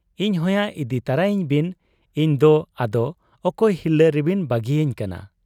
ᱤᱧ ᱦᱚᱸᱭᱟ ᱤᱫᱤ ᱛᱚᱨᱟᱭᱤᱧ ᱵᱤᱱ ᱾ ᱤᱧᱫᱚ ᱟᱫᱚ ᱚᱠᱚᱭ ᱦᱤᱨᱞᱟᱹ ᱨᱮᱵᱤᱱ ᱵᱟᱹᱜᱤᱭᱟᱹᱧ ᱠᱟᱱᱟ ?